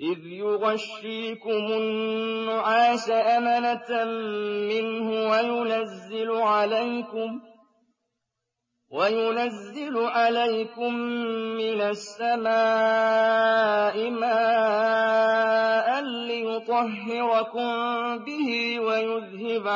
إِذْ يُغَشِّيكُمُ النُّعَاسَ أَمَنَةً مِّنْهُ وَيُنَزِّلُ عَلَيْكُم مِّنَ السَّمَاءِ مَاءً لِّيُطَهِّرَكُم بِهِ وَيُذْهِبَ